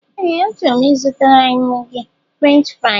Ee! A chọrọ m ịzụtara m gị Frenchị fraịs.